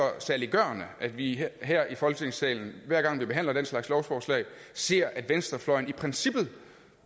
saliggørende at vi her i folketingssalen hver gang vi behandler den slags lovforslag ser at venstrefløjen i princippet